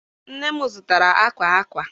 Nne m zụtara akwa akwa.